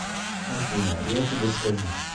афина я тебе скажу